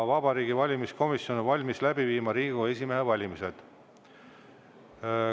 Vabariigi Valimiskomisjon on valmis läbi viima Riigikogu esimehe valimise.